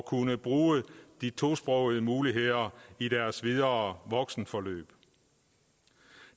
kunne bruge de tosprogede muligheder i deres videre voksenforløb